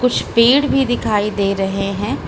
कुछ पेड़ भी दिखाई दे रहे हैं।